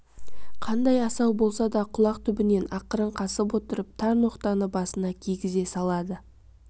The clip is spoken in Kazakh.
қандай асау болса да құлақ түбінен ақырын қасып отырып тар ноқтаны басына кигізе салады